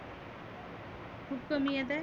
खुप कमी येत आहे?